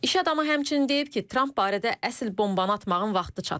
İş adamı həmçinin deyib ki, Tramp barədə əsl bombanı atmağın vaxtı çatıb.